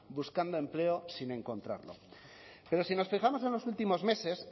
buscando empleo sin encontrarlo pero si nos fijamos en los últimos meses